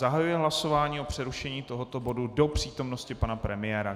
Zahajuji hlasování o přerušení tohoto bodu do přítomnosti pana premiéra.